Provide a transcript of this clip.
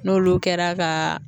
N'olu kɛra ka